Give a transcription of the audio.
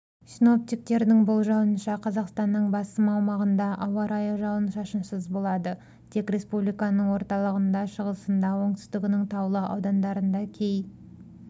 синоптиктердің болжауынша қазақстанның басым аумағында ауа-райы жауын-шашынсыз болады тек республиканың орталығында шығысында оңтүстігінің таулы аудандарында кей